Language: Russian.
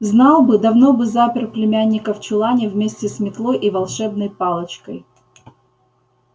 знал бы давно бы запер племянника в чулане вместе с метлой и волшебной палочкой